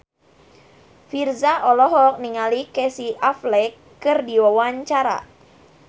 Virzha olohok ningali Casey Affleck keur diwawancara